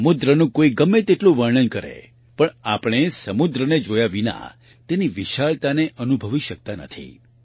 સમુદ્રનું કોઈ ગમે તેટલું વર્ણન કરે પણ આપણે સમુદ્રને જોયા વિના તેની વિશાળતાને અનુભવી શકતા નથી